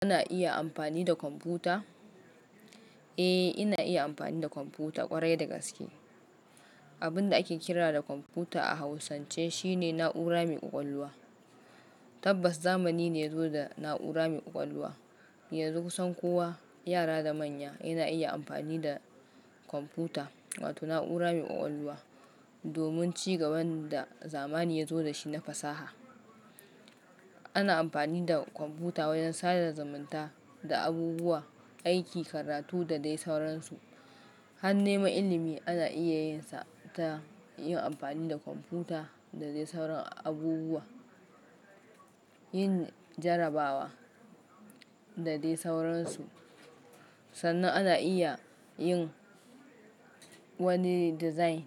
Ana iya amfani da kwamfuta? Eh, ina iya amfani da kwamfuta ƙwarai da gaske. Abin da ake kira da kwamfuta a Hausance shine na'ura mai ƙwaƙwalwa. Tabbas zamani ne ya zo da na'ura mai ƙwaƙwalwa. Yanzu kusan kowa, yara da manya yana iya amfani da kwamfuta wato na'ura mai ƙwaƙwalwa domin ci gaban da zamani ya zo da shi na fasaha. Ana amfani da kwamfuta wajen sadar zamunta da abubuwa, aiki, karatu da dai sauransu. Har neman ilimi ana iya yin sa ta yin amfani da kwamfuta da dai sauran abubuwa, yin jarabawa da dai sauransu. Sannan ana iya yin wani design